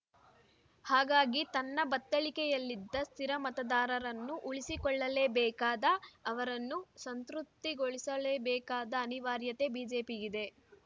ಹಾಗಾಗಿ ತನ್ನ ಬತ್ತಳಿಕೆಯಲ್ಲಿದ್ದ ಸ್ಥಿರ ಮತದಾರನ್ನು ಉಳಿಸಿಕೊಳ್ಳಲೇಬೇಕಾದ ಅವರನ್ನು ಸಂತೃಪ್ತಿಗೊಳಿಸಲೇಬೇಕಾದ ಅನಿವಾರ್ಯತೆ ಬಿಜೆಪಿಗಿದೆ